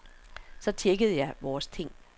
Så tjekkede jeg vores ting.